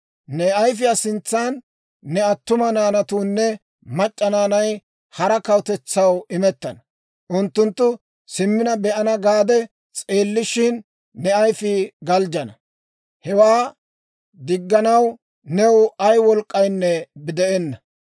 Ne ayfiyaa sintsan ne attuma naanatuunne mac'c'a naanay hara kawutetsaw imettana; unttunttu simmina be'ana gaade s'eellishin, ne ayfii galjjana; hewaa digganaw new ay wolk'k'aynne de'enna.